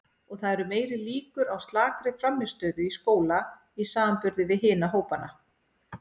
Og það eru meiri líkur á slakri frammistöðu í skóla í samanburði við hina hópana.